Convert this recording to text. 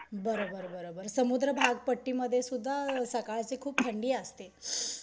बर बर बर बर. समुद्र भाग पट्टीमध्ये सुद्धा सकाळची खूप थंडी असते.